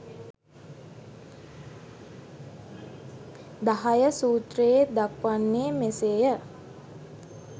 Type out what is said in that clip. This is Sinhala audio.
10 සූත්‍රයේ දක්වන්නේ මෙසේ ය.